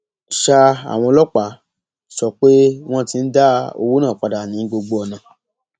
sa àwọn ọlọpàá sọ pé wọn ti ń dá owó náà padà ní gbogbo ọnà